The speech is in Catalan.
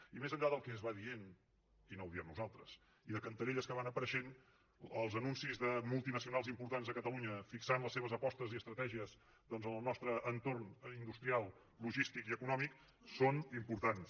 i més enllà del que es va dient i no ho diem nosaltres i de cantarelles que van apareixent els anuncis de multinacionals importants a catalunya fixant les seves apostes i estratègies en el nostre entorn industrial logístic i econòmic són importants